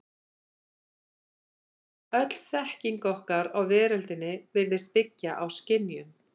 Öll þekking okkar á veröldinni virðist byggja á skynjun.